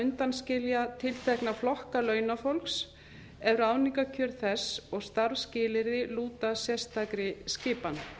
undanskilja tiltekna flokka launafólks ef ráðningarkjör þess og starfsskilyrði lúta sérstakri skipan